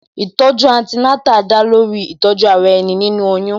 Ìtọ̀ju Antenatal da lórí Ìtọ̀ju ara ẹni, nínú oyún